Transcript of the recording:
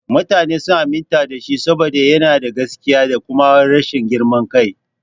Mutane sun aminta da shi saboda yana da gaskiya da kuma rashin girman kai.